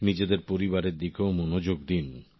নিজেদের পরিবারের দিকেও মনোযোগ দিন